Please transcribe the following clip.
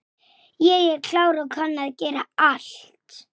Ekkjan sló kólfi í bjöllu.